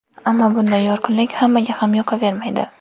Ammo bunday yorqinlik hammaga ham yoqavermaydi.